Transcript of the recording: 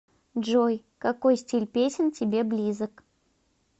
джой какой стиль песен тебе близок